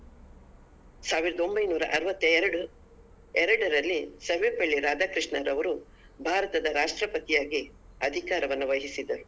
ಸಾವಿರದ ಒಂಬೈನೂರ ಅರ್ವತ್ತ ಎರಡು ಎರಡರಲ್ಲಿ ಸರ್ವಪಲ್ಲಿ ರಾಧಾಕೃಷ್ಣರವರು ಭಾರತದ ರಾಷ್ಟ್ರಪತಿಯಾಗಿ ಅಧಿಕಾರವನ್ನು ವಹಿಸಿದರು.